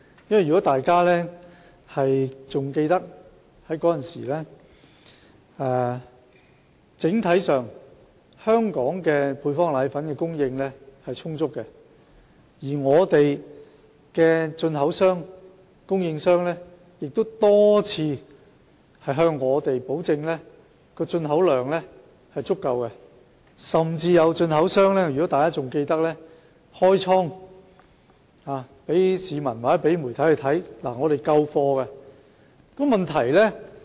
如果大家仍然記得，當時香港整體上配方粉的供應是充足的，本港的進口商、供應商亦多次向我們保證進口量足夠，甚至有進口商開倉讓媒體和市民參觀，以證明他們的存貨充足。